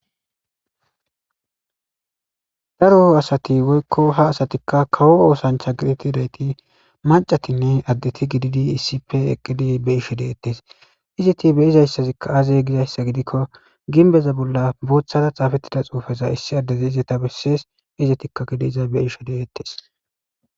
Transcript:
daro asati woykka ha asati kawo oosancha geetetidaytti maccatinne addeti gididi issippe eqqidi be7she deetes. Ezeti be7izayssati aaze giyassa gidikko gimbbeza bolla booththara xaafetiza xuufe issi addezi ezeta besees. Izetikka izza be7ishe de7eetees.